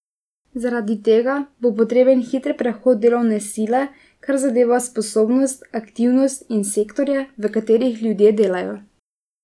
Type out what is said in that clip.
Zaradi tega bo potreben hiter prehod delovne sile, kar zadeva sposobnost, aktivnost in sektorje, v katerih ljudje delajo.